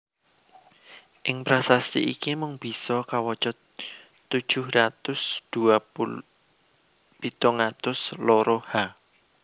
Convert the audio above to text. Ing prasasti iki mung bisa kawaca tujuh ratus dua pitung atus loro H